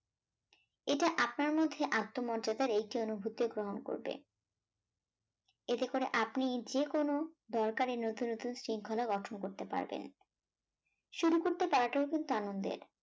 এটা আপনার মধ্যে আত্মমর্যাদার একটি অনুভূতি গ্রহণ করবে এতে করে আপনি যেকোনো দরকারী নুতুন নুতুন শৃঙ্খলা গঠন করতে পারবেন শুরু করতে পারাটাও কিন্তু আনন্দের